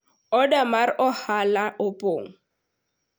oda mar ohala opong'